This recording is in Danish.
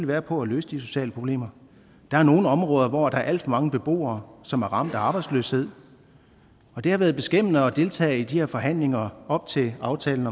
være på at løse de sociale problemer der er nogle områder hvor der er alt for mange beboere som er ramt af arbejdsløshed og det har været beskæmmende at deltage i de her forhandlinger op til aftalen